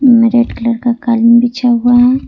Red colour का कालीन बिछा हुआ है।